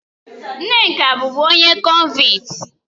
Nneka bụ onye bụbu kọnvịtị